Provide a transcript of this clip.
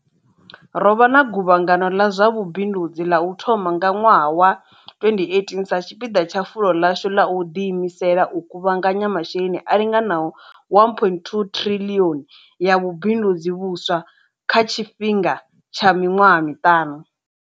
Ro vha na guvhangano ḽa zwa vhubindudzi ḽa u thoma nga ṅwaha wa 2018 sa tshipiḓa tsha fulo ḽashu ḽa u ḓiimisela u kuvhanganya masheleni a linganaho R1.2 triḽioni ya vhubindudzi vhuswa kha tshi fhinga tsha miṅwaha miṱanu.